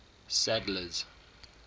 sadler's